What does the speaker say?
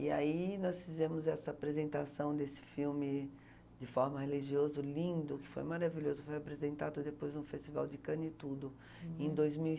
E aí nós fizemos essa apresentação desse filme de forma religioso, lindo, que foi maravilhoso, foi apresentado depois no Festival de Cannes e tudo, em dois mil e